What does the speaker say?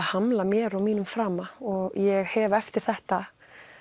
hamla mér og mínum frama og ég hef eftir þetta